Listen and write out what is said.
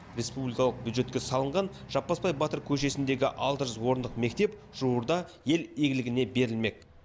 республикалық бюджетке салынған жаппасбай батыр көшесіндегі алты жүз орындық мектеп жуырда ел игілігіне берілмек